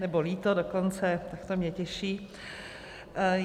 Nebo líto dokonce, tak to mě těší.